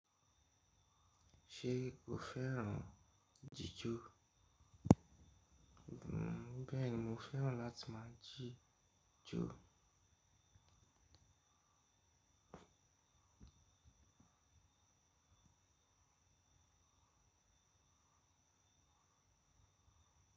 Ṣé ò fẹ́ràn jíjò? Bẹ́ẹ̀ni, mo fẹ́ràn láti máa jíjò.